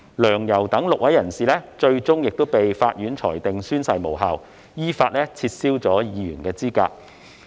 梁、游等6位人士最終被法院裁定宣誓無效，依法撤銷議員資格。